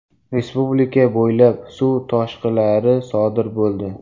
Respublika bo‘ylab suv toshqilari sodir bo‘ldi.